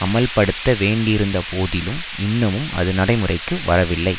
அமுல்படுத்த வேண்டியிருந்த போதிலும் இன்னமும் அது நடைமுறைக்கு வரவில்லை